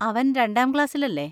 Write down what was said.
അവൻ രണ്ടാം ക്ലാസ്സിലല്ലേ?